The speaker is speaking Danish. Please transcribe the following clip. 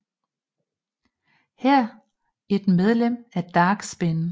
Her et medlem af Dark Spin